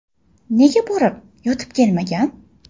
Nega borib yotib kelmagan?”.